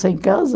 sem casa.